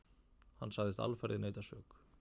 Hann sagðist alfarið neita sök.